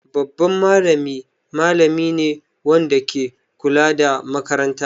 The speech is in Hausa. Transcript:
Babban malami malami ne wanda ke kula da makaranta.